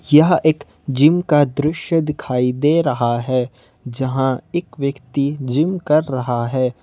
यह एक जिम का दृश्य दिखाई दे रहा है जहाँ एक व्यक्ति जिम कर रहा है।